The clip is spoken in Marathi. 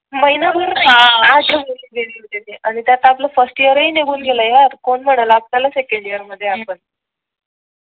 महिना भर त्यात आपला फर्स्ट ईयरही निघून गेलं यार कोण म्हणेल आपल्याला सेकंड ईयर मध्ये आपण